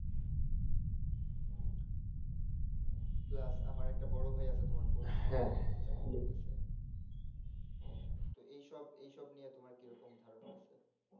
plus আমার একটা বড় ভাই আছে তোমার চাকরি করতেছে তো এসব এসব নিয়ে তোমার কি রকম ধারণা আছে